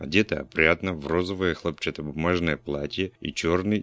одето опрятно в розовое хлопчатобумажное платье и чёрный